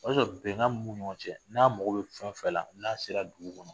O y'a sɔrɔ bɛnkan mun b'u nin ɲɔgɔn cɛ, n'a mago bɛ fɛn o fɛn la n'a sera dugu kɔnɔ